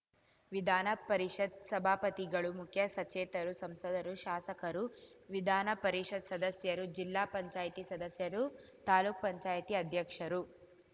ವಿದಾನ ಪರಿಷತ್ ಸಭಾಪತಿಗಳು ಮುಖ್ಯ ಸಚೇತರು ಸಂಸದರು ಶಾಸಕರು ವಿದಾನ ಪರಿಷತ್ ಸದಸ್ಯರು ಜಿಲ್ಲಾ ಪಂಚಾಯತ್ ಸದಸ್ಯರು ತಾಲುಕು ಪಂಚಾಯತ್ ಅಧ್ಯಕ್ಷರು